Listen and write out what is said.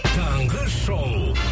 таңғы шоу